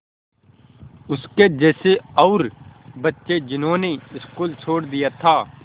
उसके जैसे और बच्चे जिन्होंने स्कूल छोड़ दिया था